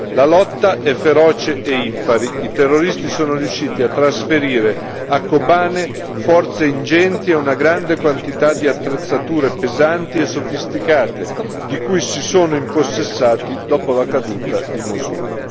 La lotta è feroce e impari, i terroristi sono riusciti a trasferire a Kobane forze ingenti e una grande quantità di attrezzature pesanti e sofisticate di cui si sono impossessati dopo la caduta di Mosul.